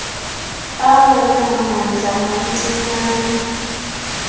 awona mandla mancinane